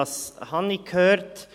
Was habe ich gehört?